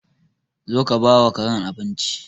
Zo ka bawa Karen abinci.